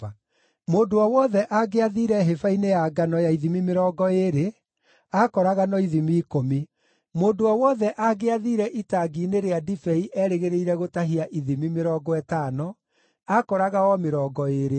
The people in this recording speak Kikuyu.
Mũndũ o wothe angĩathiire hĩba-inĩ ya ngano ya ithimi mĩrongo ĩĩrĩ, aakoraga no ithimi ikũmi. Mũndũ o wothe angĩathiire itangi-inĩ rĩa ndibei erĩgĩrĩire gũtahia ithimi mĩrongo ĩtano, aakoraga o mĩrongo ĩĩrĩ.